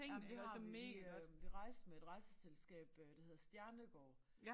Ja men det har vi. Vi øh vi rejste med et rejseselskab øh der hedder Stjernegaard